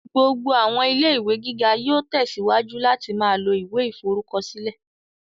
Gbogbo àwọn ilé-ìwé gíga yóò tẹsíwájú láti ma lo ìwé ìforúkọsílẹ̀